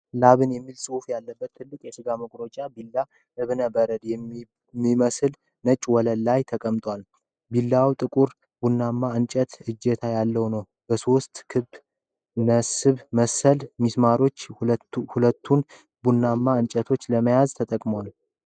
ላምሰን የሚል ፅሁፍ ያለበት ትልቅ የስጋ መቁረጫ ቢላ እብነ በረድ በሚመስል ነጭ ወለል ላይ ተቀምጧል። ቢላዋው ጥቁር ቡናማ የእንጨት እጀታ ያለው ነው። በሦስት ክብ ነሐስ መሰል ሚስማሮች ሁለቱን ቡናማ እንጨቶች ለማያያዝ ተጠቅመውበታል።